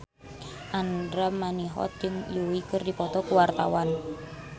Andra Manihot jeung Yui keur dipoto ku wartawan